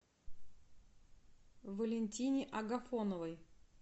валентине агафоновой